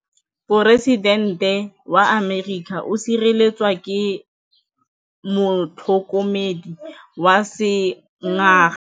Poresitêntê wa Amerika o sireletswa ke motlhokomedi wa sengaga.